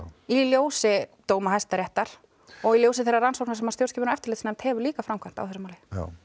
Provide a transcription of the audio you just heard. í ljósi dóma Hæstaréttar og í ljósi þeirrar rannsóknar sem stjórnskipunar og eftirlitsnefnd hefur líka framkvæmt á þessu máli